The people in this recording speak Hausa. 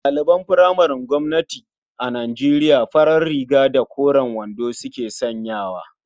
Ɗaliban furamaren gwamnati a Nijeriya farar riga da koren wando suke sanyawa.